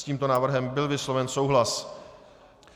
S tímto návrhem byl vysloven souhlas.